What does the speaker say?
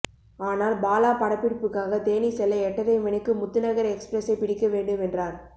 ஆனால் பாலா படப்பிடிப்புக்காக தேனி செல்ல எட்டரை மணிக்கு முத்துநகர் எக்ஸ்பிரஸை பிடிக்க வேண்டும் என்றார்